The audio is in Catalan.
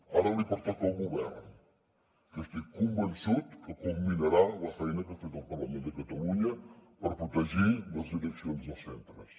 ara li pertoca al govern que estic convençut que culminarà la feina que ha fet el parlament de catalunya per protegir les direccions dels centres